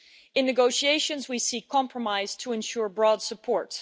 In negotiations we seek compromise to ensure broad support.